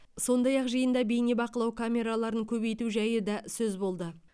сондай ақ жиында бейнебақылау камераларын көбейту жайы да сөз болды